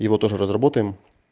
его тоже разработаем